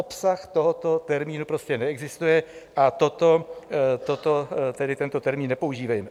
Obsah tohoto termínu prostě neexistuje a tento termín nepoužívejme.